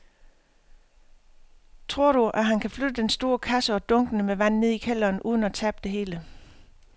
Tror du, at han kan flytte den store kasse og dunkene med vand ned i kælderen uden at tabe det hele?